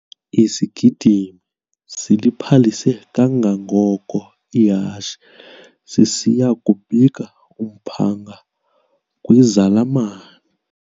Isigidimi siliphalise kangangoko ihashe sisiya kubika umphanga kwizalamane.